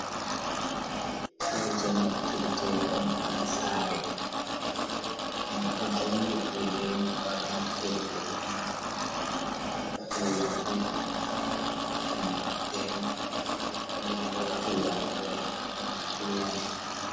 Kuje naftirɗe ɗum ha sare. Ɗum ɗo jongitiri beni ko naftirte. Kala kuje fu ha sare paɓɓi ɗli’e be kalimar turankore apliliaans.